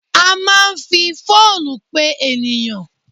A máa ń fi fóònù pe ènìyàn.